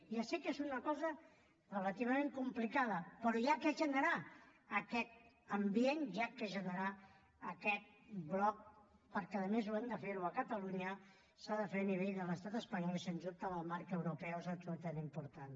ja sé que és una cosa relativament complicada però s’ha de generar aquest ambient s’ha de generar aquest bloc perquè a més ho hem de fer a catalunya s’ha de fer a nivell de l’estat espanyol i sens dubte en el marc europeu és absolutament important